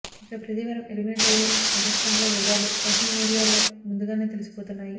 ఇక ప్రతీ వారం ఎలిమినెట్ అయ్యే కంటెస్టెంట్ ల వివరాలు సోషల్ మీడియాలో ముందుగానే తెలిసిపోతున్నాయి